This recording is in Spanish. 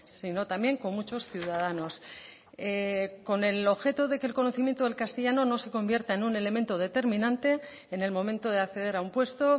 sino también con muchos ciudadanos con el objeto de que el conocimiento del castellano no se convierta en un elemento determinante en el momento de acceder a un puesto